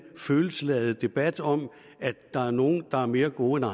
følelsesladet debat om at der er nogle der er mere gode